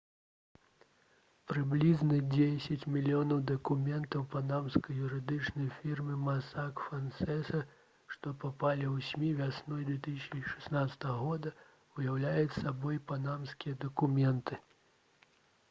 прыблізна дзесяць мільёнаў дакументаў панамскай юрыдычнай фірмы «масак фансеса» што папалі ў смі вясной 2016 года уяўляюць сабой «панамскія дакументы»